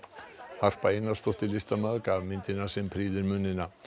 Harpa Einarsdóttir listamaður gaf myndina sem prýðir munina